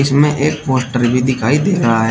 इसमें एक पोस्टर भी दिखाई दे रहा है।